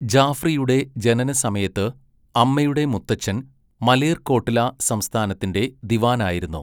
ജാഫ്രിയുടെ ജനനസമയത്ത് അമ്മയുടെ മുത്തച്ഛൻ മലേർകോട്ട്ല സംസ്ഥാനത്തിൻ്റെ ദിവാനായിരുന്നു.